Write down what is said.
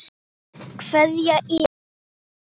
Kveðja Iða.